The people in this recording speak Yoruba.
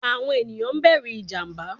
Awọn eniyan bẹru ijamba